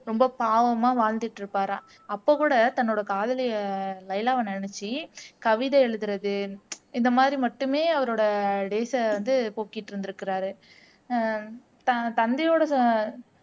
ரொம்ப பாவமா வாழ்ந்துட்டு இருப்பாராம் அப்போ கூட தன்னோட காதலிய லைலாவ நினைச்சி கவிதை எழுதுறது இந்த மாதிரி மட்டுமே அவரோட டேய்ஸை வந்து போக்கிட்டு இருந்திருக்காரு ஹம் தன் தந்தையோட